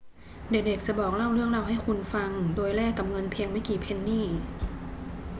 เด็ก ๆ จะบอกเล่าเรื่องราวให้คุณฟังโดยแลกกับเงินเพียงไม่กี่เพนนี